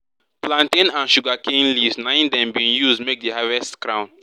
plantain and sugarcane leaves naim dem bin use make di harvest crown